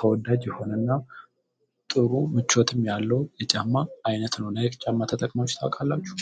ተወዳጅ የሆነና ጥሩ ምቾትም ያለው የጫማ አይነት ነው ናይክ ጫማ ተጠቅሞች ታውቃላችሁ